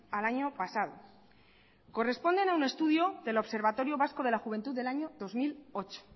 al año pasado corresponden a un estudio del observatorio vasco de la juventud del año dos mil ocho